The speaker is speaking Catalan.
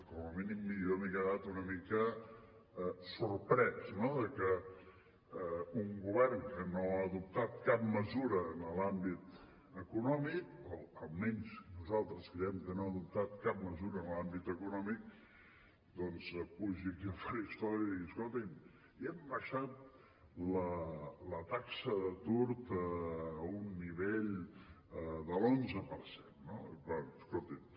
com a mínim jo m’he quedat una mica sorprès de que un govern que no ha adoptat cap mesura en l’àmbit econòmic o almenys nosaltres creiem que no ha adoptat cap mesura en l’àmbit econòmic doncs pugi aquí al faristol i digui escolti’m hem abaixat la taxa d’atur a un nivell de l’onze per cent no bé escolti’m